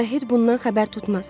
Arouhed bundan xəbər tutmaz.